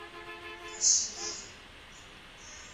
косухи